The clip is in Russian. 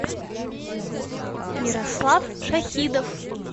мирослав шахидов